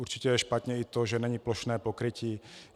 Určitě je špatně i to, že není plošné pokrytí.